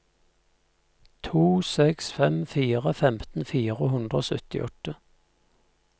to seks fem fire femten fire hundre og syttiåtte